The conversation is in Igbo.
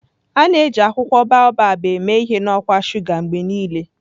A na-eji akwụkwọ Baobab eme ihe na ọkwa shuga mgbe niile.